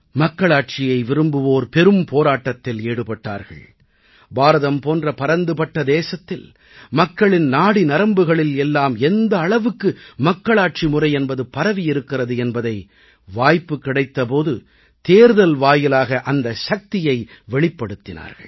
மக்களாட்சியை விரும்புவோர் பெரும்போராட்டத்தில் ஈடுபட்டார்கள் பாரதம் போன்ற பரந்துபட்ட தேசத்தில் மக்களின் நாடிநரம்புகளில் எல்லாம் எந்த அளவுக்கு மக்களாட்சி முறை என்பது பரவியிருக்கிறது என்பதை வாய்ப்பு கிடைத்த போது தேர்தல் வாயிலாக அந்தச் சக்தியை வெளிப்படுத்தினார்கள்